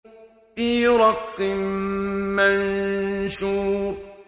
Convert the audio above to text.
فِي رَقٍّ مَّنشُورٍ